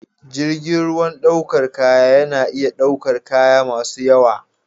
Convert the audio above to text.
Jirgin ruwan ɗaukar kaya yana iya ɗaukar kaya masu yawa.